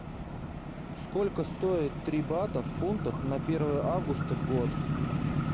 сколько стоит три бата в фунтах на первое августа год